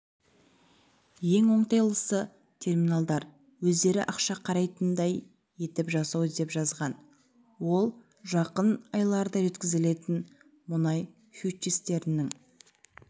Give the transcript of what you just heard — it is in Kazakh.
ең оңтайлысы терминалдар өздері ақша қайтаратындай етіп жасау деп жазған ол жақын айларда жеткізілетін мұнай фьючерстерінің